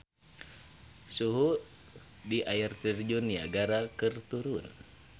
Suhu di Air Terjun Niagara keur turun